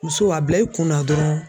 Muso a bila i kun na dɔrɔn